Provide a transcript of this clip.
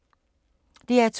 DR2